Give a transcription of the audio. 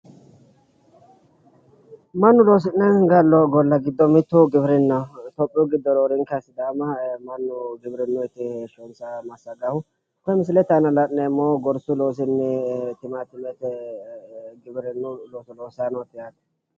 mannu loosi'ne gallo golla giddo mittu giwirinnaho itiyoophiyu giddo roorenka sidaama mannu giwirinuuyiti heeshonsa massagahu koye misile aana laneemohu gorsu loosinni timaatimete giwirinnu looso lossayinoote yaate.